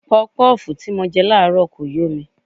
Pọpọ́ọ̀fù tí mo jẹ láàárọ̀ kò yó mi.